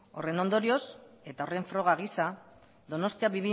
horren ondorioz eta horren froga giza donostia